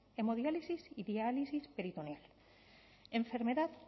hemodiálisis y diálisis peritoneal enfermedad